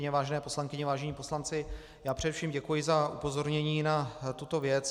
Vážené poslankyně, vážení poslanci, já především děkuji za upozornění na tuto věc.